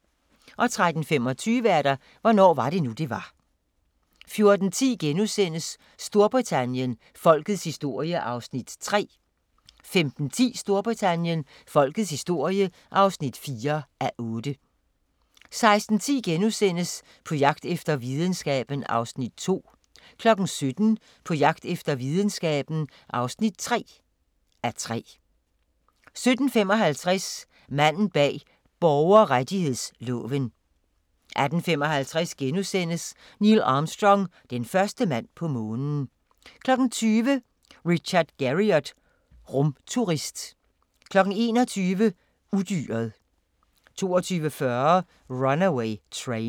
13:25: Hvornår var det nu, det var? 14:10: Storbritannien – Folkets historie (3:8)* 15:10: Storbritannien – Folkets historie (4:8) 16:10: På jagt efter videnskaben (2:3)* 17:00: På jagt efter videnskaben (3:3)* 17:55: Manden bag borgerrettighedsloven 18:55: Neil Armstrong – den første mand på Månen * 20:00: Richard Garriott – rumturist 21:00: Udyret 22:40: Runaway Train